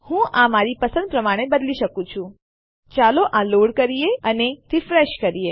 હું આ મારી પસંદ પ્રમાણે બદલી શકું છું ચાલો આ લોડ કરીએ અને રીફ્રેશ કરીએ